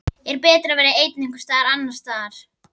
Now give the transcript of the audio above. Er betra að vera einn einhvers staðar annars staðar?